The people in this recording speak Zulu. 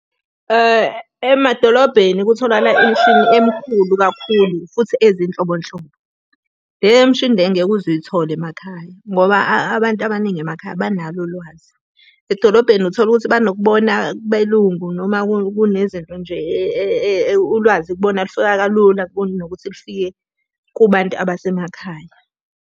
Emadolobheni kutholakala imishini emikhulu kakhulu futhi ezinhlobonhlobo. Le mishini le ngeke uze uyithole emakhaya, ngoba abantu abaningi emakhaya banalo ulwazi. Edolobheni uthola ukuthi banokubona kubelungu noma kunezinto nje ulwazi kubona lufika kalula kunokuthi lufike kubantu abasemakhaya.